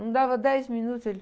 Não dava dez minutos, ele...